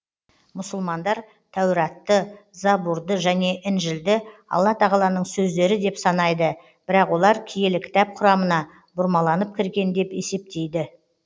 мұсылмандар тәуратты забурды және інжілді алла тағаланың сөздері деп санайды бірақ олар киелі кітап құрамына бұрмаланып кірген деп есептейді